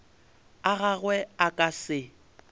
a gagwe a ka se